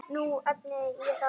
Nú efni ég það.